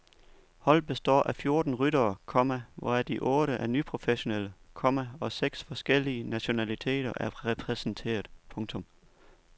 Holdet består af fjorten ryttere, komma hvoraf de otte er nyprofessionelle, komma og seks forskellige nationaliteter er repræsenteret. punktum